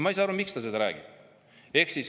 Ma ei saa aru, miks ta seda räägib.